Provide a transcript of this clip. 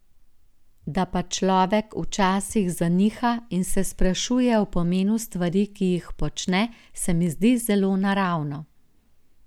Da pa človek včasih zaniha in se sprašuje o pomenu stvari, ki jih počne, se mi zdi zelo naravno.